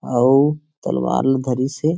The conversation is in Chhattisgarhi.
अउ तलवार ल धरीस हे।